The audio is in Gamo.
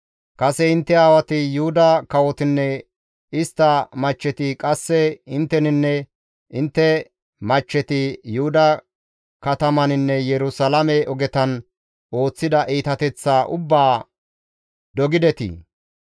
Kase intte aawati, Yuhuda kawotinne istta machcheti, qasse intteninne intte machcheti Yuhuda katamataninne Yerusalaame ogetan ooththida iitateththaa ubbaa dogidetii?